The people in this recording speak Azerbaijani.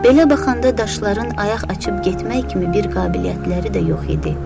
Belə baxanda daşların ayaq açıb getmək kimi bir qabiliyyətləri də yox idi.